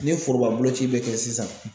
Ni foroba boloci bɛ kɛ sisan